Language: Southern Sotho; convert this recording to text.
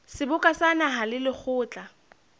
seboka sa naha le lekgotla